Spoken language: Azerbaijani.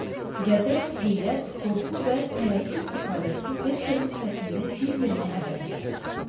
Qəzəb, heyrət, qorxu və tərəddüd ifadəsi Berkerin sifətində bir-birini əvəz elədi.